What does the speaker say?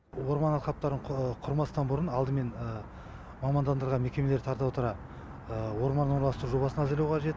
орман алқаптарын құрмастан бұрын алдымен мамандандырылған мекемені тарта отыра орман орналастыру жобасын әзірлеу қажет